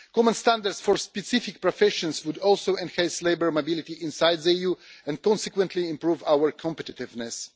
Common standards for specific professions would also enhance labour mobility inside the EU and consequently improve our competitiveness.